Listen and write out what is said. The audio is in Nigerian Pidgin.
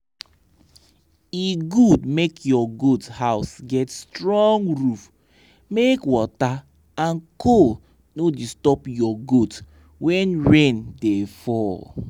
e good make ur goat house get strong roof make water and cold no disturb your goat when rain da fall